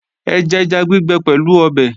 Ẹ jẹja gbígbẹ pẹ̀lú ọbẹ̀!